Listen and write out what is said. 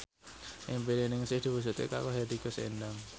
impine Ningsih diwujudke karo Hetty Koes Endang